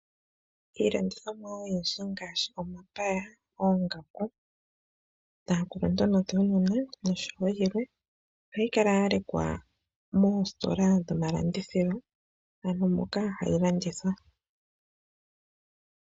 Iilandithomwa oyindji ngaashi omapaya, oongaku dhaakuluntu nodhuunona noshowo yilwe ohayi kala ya lekwa moositola dhomalandithilo, ano moka hayi landithwa.